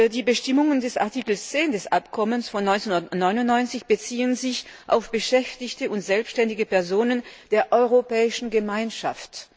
Die Bestimmungen des Artikels 10 des Abkommens von 1999 beziehen sich auf Beschäftigte und selbständige Personen der Europäischen Gemeinschaft.